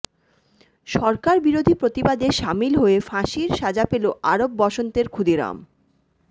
সরকার বিরোধী প্রতিবাদে সামিল হয়ে ফাঁসির সাজা পেল আরব বসন্তের ক্ষুদিরাম